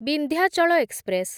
Vindhyachal express